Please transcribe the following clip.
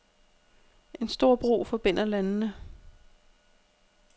En stor bro forbinder landene.